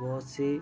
बहोत सी --